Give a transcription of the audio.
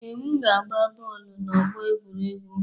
Ee, m ga-agba bọọlụ n'ọgbọ egwuregwu